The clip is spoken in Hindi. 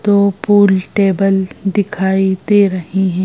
दो पूल टेबल दिखाई दे रहे हैं।